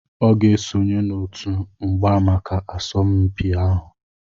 Ọ ga-esonye n'otu mgba maka asọmpi ahụ